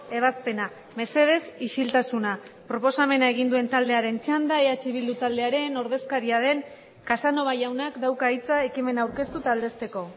ebazpena mesedez isiltasuna proposamena egin duen taldearen txanda eh bildu taldearen ordezkaria den casanova jaunak dauka hitza ekimena aurkeztu eta aldezteko